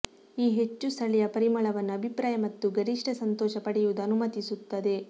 ಈ ಹೆಚ್ಚು ಸ್ಥಳೀಯ ಪರಿಮಳವನ್ನು ಅಭಿಪ್ರಾಯ ಮತ್ತು ಗರಿಷ್ಠ ಸಂತೋಷ ಪಡೆಯುವುದು ಅನುಮತಿಸುತ್ತದೆ